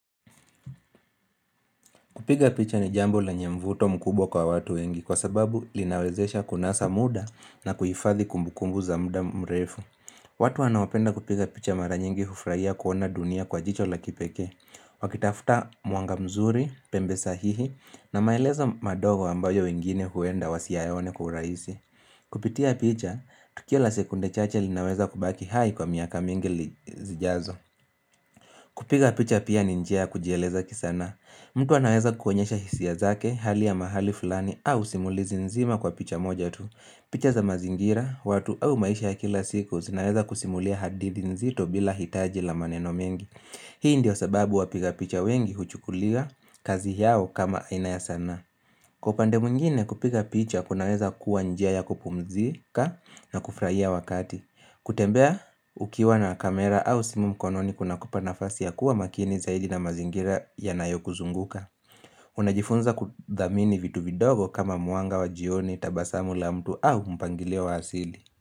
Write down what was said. Kupiga picha ni jambo lenye mvuto mkubwa kwa watu wengi kwa sababu linawezesha kunasa muda na kuhifadhi kumbukumbu za muda mrefu. Watu wanaopenda kupiga picha mara nyingi hufraia kuona dunia kwa jicho la kipekee. Wakitafuta mwanga mzuri, pembe sahihi na maelezo madogo ambayo wengine huenda wasiayone kwa uraisi Kupitia picha, tukio la sekunde chache linaweza kubaki hai kwa miaka mingi li zijazo. Kupiga picha pia ni njia ya kujieleza kisanaa. Mtu anaweza kuonyesha hisia zake, hali ya mahali fulani au simulizi nzima kwa picha moja tu. Picha za mazingira, watu au maisha ya kila siku zinaweza kusimulia hadithi nzito bila hitaji la maneno mengi. Hii ndio sababu wapiga picha wengi huchukulia kazi yao kama aina ya sanaa. Kwa upande mwingine kupiga picha kunaweza kuwa njia ya kupumzika na kufraia wakati. Kutembea ukiwa na kamera au simu mkononi kunakupa nafasi ya kuwa makini zaidi na mazingira yanayo kuzunguka Unajifunza kudhamini vitu vidogo kama mwanga wa jioni, tabasamu la mtu au mpangilio wa asili.